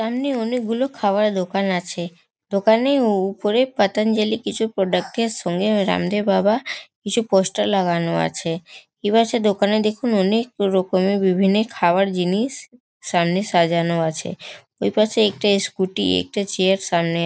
সামনে অনকে গুলো খাবার দোকান আছে দোনাকের উ-উপরে পতঞ্জলি কিছু প্রোডাক্ট -এর সঙ্গে রামদেব বাবা কিছু পোস্টার লাগানো আছে। এপাশে দোকানে দেখুন অনেক রকমের বিভিন্ন খাবার জিনিস সামনে সাজানো আছে। ওইপাশে একটা স্কুটি একটা চেয়ার সামনে --